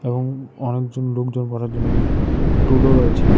এবং অনেকজন লোকজন বসার জন্য একটি টুলও রয়েছে।